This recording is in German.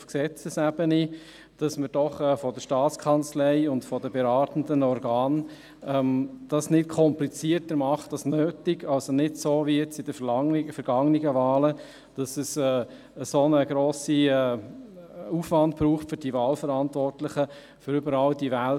Ich habe als langjähriger Wahlverantwortlicher ein wenig Angst, dass damit nochmals ein Zusatzaufwand für die Parteien verbunden ist.